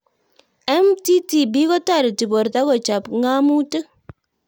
MTTP kotareti porto kochop ng'amutik